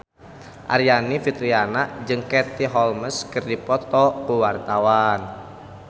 Aryani Fitriana jeung Katie Holmes keur dipoto ku wartawan